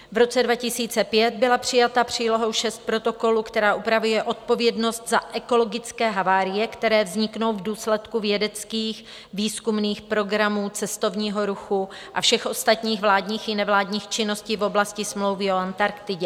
V roce 2005 byla přijata přílohou VI protokolu, která upravuje odpovědnost za ekologické havárie, které vzniknou v důsledku vědeckých výzkumných programů cestovního ruchu a všech ostatních vládních i nevládních činností v oblasti smlouvy o Antarktidě.